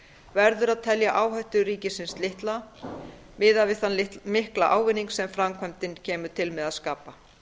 verður að telja áhættu ríkisins litla miðað við þann mikla ávinning sem framkvæmdin kemur til með að skapa